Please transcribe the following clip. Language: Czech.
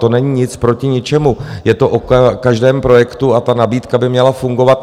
To není nic proti ničemu, je to o každém projektu a ta nabídka by měla fungovat.